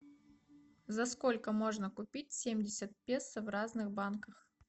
за сколько можно купить семьдесят песо в разных банках